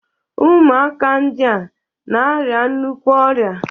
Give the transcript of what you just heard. Ụmụaka ndịa na-arịa nnukwu ọrịa